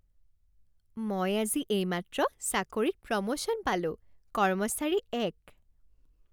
মই আজি এইমাত্ৰ চাকৰিত প্ৰমোশ্যন পালোঁ। কৰ্মচাৰী এক